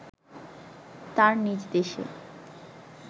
তার নিজ দেশে